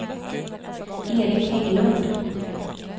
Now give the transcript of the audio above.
Erik Hägglund